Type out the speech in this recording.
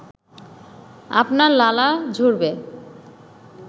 আপনার লালা ঝরবে